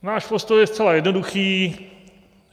Náš postoj je zcela jednoduchý.